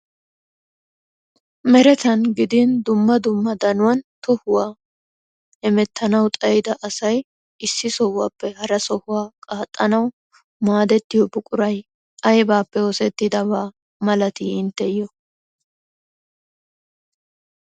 Uelatan gidin dumma dumma danuwan tohuwaa hemettanaw xayyida asay issi sohuwappe hara sohuwa qaaxanaw maadetiyo buquray aybbappe oosetidabaa malati intteyto?